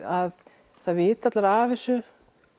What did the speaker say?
að það viti allir af þessu